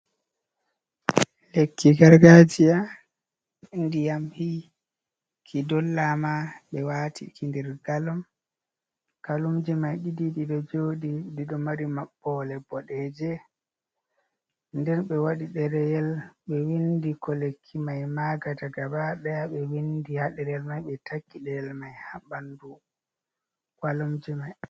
Lekki gargajiya ndiyam hiki dollama be wati kindir galom kalumji mai ɗidiibe jodi dido mari mabbole bodeje ,nden be wadi dereyel be windi ko lekki mai magata ga badaya be windi ha derel mai be taki deyel mai ha bandu walumje mai.